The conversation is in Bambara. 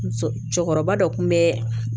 Muso cɛkɔrɔba dɔ kun bɛ